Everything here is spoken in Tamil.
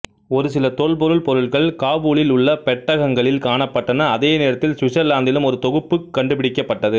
ஒரு சில தொல்பொருள் பொருள்கள் காபூலில் உள்ள பெட்டகங்களில் காணப்பட்டன அதே நேரத்தில் சுவிட்சர்லாந்திலும் ஒரு தொகுப்பு கண்டுபிடிக்கப்பட்டது